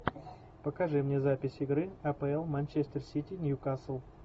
покажи мне запись игры апл манчестер сити ньюкасл